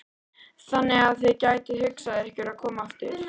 Þannig að þið gætuð hugsað ykkur að koma aftur?